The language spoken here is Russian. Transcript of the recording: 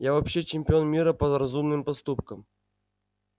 я вообще чемпион мира по разумным поступкам